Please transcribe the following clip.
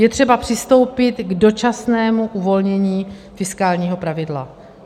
Je třeba přistoupit k dočasnému uvolnění fiskálního pravidla.